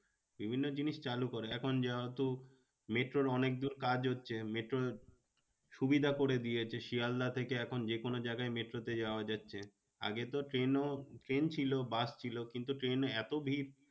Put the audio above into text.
বিভিন্ন জিনিস চালু করে এখন যেহেতু মেট্রোর অনেক দূর কাজ হচ্ছে মেট্রো সুবিধা করে দিয়েছে শিয়ালদা থেকে এখন যে কোনো জায়গায় মেট্রোতে যাওয়া যাচ্ছে। আগে তো ট্রেনও, ট্রেন ছিল বাস ছিল কিন্তু ট্রেন এত ভিড়